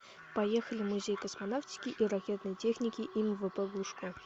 поехали музей космонавтики и ракетной техники им вп глушко